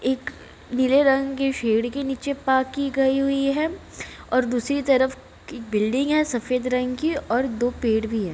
एक नीले रंग के शेड के नीचे पार्क की गई हुई है और दूसरी तरफ क बिल्डिंग है सफेद रंग की और दो पेड़ भी है।